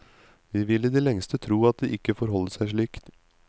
Vi vil i det lengste tro at det ikke forholder seg slik.